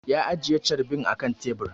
Ya ajiye carbin a kan tebur